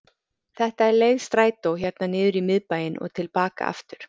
Þetta er leið strætó hérna niður í miðbæinn og til baka aftur.